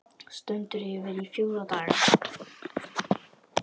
Stendur yfir í fjóra daga.